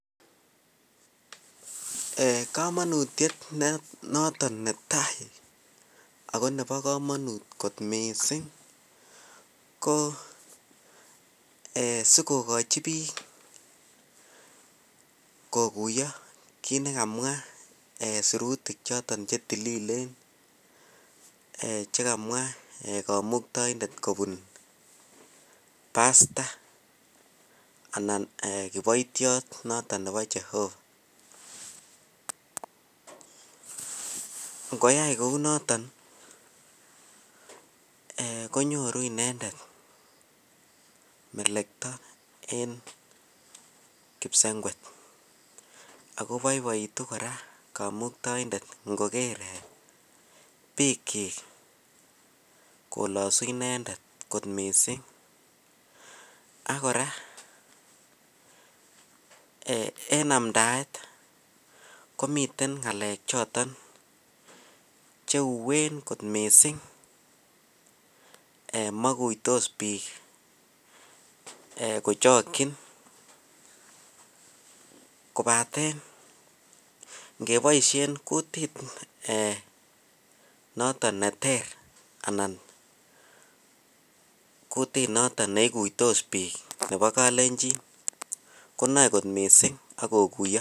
Kamanutiet noton netai akonebi kamanut kot mising kosikokachi bik kokuiyo kit nikamwa sirutik choton chetililen chekamwaa kamuktaindet kobun pasta anan kibaitiot noton Nebo Jehova ngoyai Kou noton konyoru inendet melekta en kipsengwet akobaibaitun kora kamuktaindet longer bik chik kolasunimendet kot mising akoraa en amdaet komiten ngalek choton cheuwen kot mising ak makuitos bik kochakin kobaten kebaishen kutit noton neter anan kutit noton neikuitos bik Nebo kalenjin konae kot mising akokuiyo